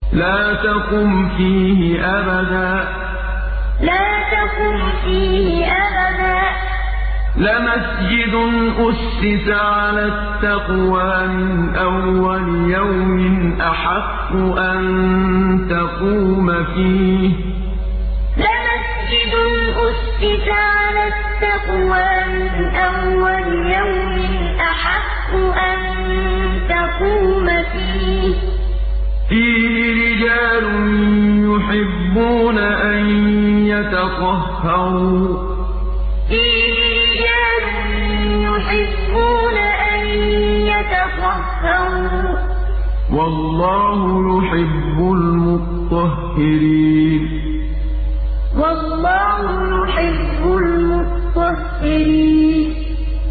لَا تَقُمْ فِيهِ أَبَدًا ۚ لَّمَسْجِدٌ أُسِّسَ عَلَى التَّقْوَىٰ مِنْ أَوَّلِ يَوْمٍ أَحَقُّ أَن تَقُومَ فِيهِ ۚ فِيهِ رِجَالٌ يُحِبُّونَ أَن يَتَطَهَّرُوا ۚ وَاللَّهُ يُحِبُّ الْمُطَّهِّرِينَ لَا تَقُمْ فِيهِ أَبَدًا ۚ لَّمَسْجِدٌ أُسِّسَ عَلَى التَّقْوَىٰ مِنْ أَوَّلِ يَوْمٍ أَحَقُّ أَن تَقُومَ فِيهِ ۚ فِيهِ رِجَالٌ يُحِبُّونَ أَن يَتَطَهَّرُوا ۚ وَاللَّهُ يُحِبُّ الْمُطَّهِّرِينَ